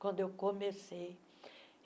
quando eu comecei.